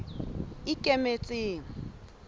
ikemetseng